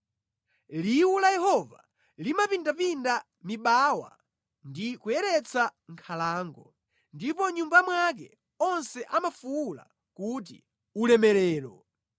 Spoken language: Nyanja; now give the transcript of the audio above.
Liwu la Yehova limapindapinda mibawa ndi kuyeretsa nkhalango. Ndipo mʼNyumba mwake onse amafuwula kuti, “Ulemerero!”